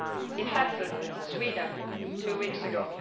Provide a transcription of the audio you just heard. It happened in Sweden two weeks ago.